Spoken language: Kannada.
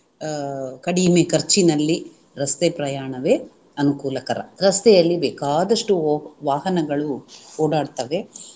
ಅಹ್ ಕಡಿಮೆ ಖರ್ಚಿನಲ್ಲಿ ರಸ್ತೆ ಪ್ರಯಾಣವೇ ಅನುಕೂಲಕರ ರಸ್ತೆಯಲ್ಲಿ ಬೇಕಾದಷ್ಟು ವಾಹನಗಳು ಓಡಾಡ್ತವೆ